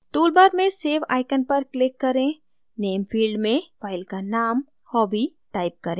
toolbar में save icon पर click करें name field में file का name hobby type करें